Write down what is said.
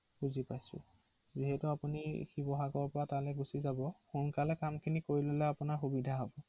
হয়